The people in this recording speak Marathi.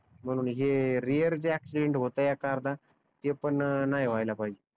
म्हणून हे रिअर जे याक्शीडेंट होत आहेत एक अर्धा ते पण नाही व्हाहीला पाहिजे